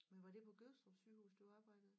Men var det på Gødstrup sygehus du arbejdede